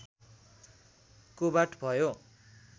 कोबाट भयो